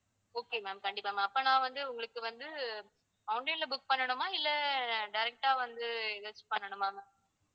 okay ma'am கண்டிப்பா ma'am அப்ப நான் வந்து உங்களுக்கு வந்து online ல book பண்ணணுமா இல்லை direct ஆ வந்து ஏதாச்சு பண்ணணுமா ma'am